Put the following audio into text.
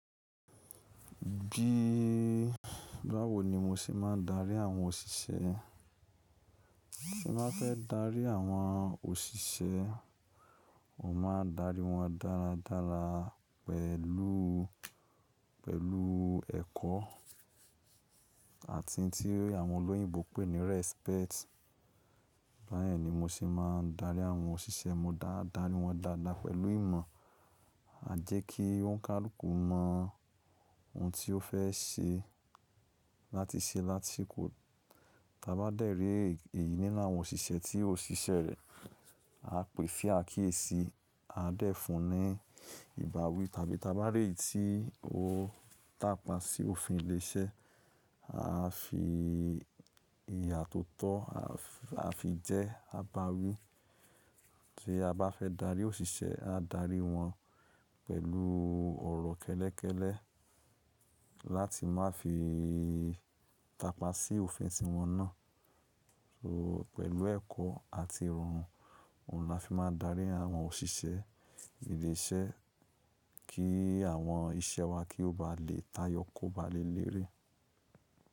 Bí báwo ni mo ṣe máa ń darí àwọn òṣìṣẹ́? Tí mo ba fẹ́ darí àwọn òṣìṣẹ́, mo máa darí wọn dáradára pẹ̀lú, pẹ̀lú ẹ̀kọ́ àti tí àwọn olóyìnbo pè ní respect. Báyẹ̀n ni mo ṣe máa ń darí àwọn òṣìṣẹ́, mo dá darí wọn dáadáa pẹ̀lú ìmọ̀, à jẹ́ kí wọ́n ká kúkú mọ ohun tí ó fẹ́ ṣe láti ṣe lási kò-- tá bá dẹ̀ eré èyí nínú àwọn òṣìṣẹ́ tí ó ṣíṣẹ́ rẹ̀, a pè é fìá kì e sí, a dẹ̀ fun ní ìbáwí tàbí tá bá rí tí ó tàpá sí òfin ilé iṣẹ́, a fi ìyà tó tọ́, a fi jẹ́ ka bá wí. Tí a bá fẹ́ darí òṣìṣẹ́, a darí wọn pẹ̀lú ọ̀rọ̀ kẹ́lẹ́kẹ́lẹ́ láti má fi tàpá sí òfin tí wọn ná. So pẹ̀lú ẹ̀kọ́ àti Irun, òhun la fi máa ń darí àwọn òṣìṣẹ́ ilé iṣẹ́ kí àwọn iṣẹ́ wa kí ó ba lè táyọ, kó ba lè lérè.